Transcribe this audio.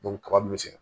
kaba min bɛ se